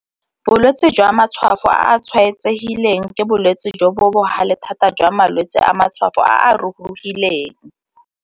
Bolwetse jwa matshwafo a a tshwaetsegileng ke bolwetse jo bo bogale thata jwa malwetse a matshwafo a a rurugileng.